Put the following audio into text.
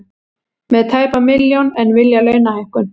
Með tæpa milljón en vilja launahækkun